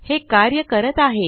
हे कार्य करत आहे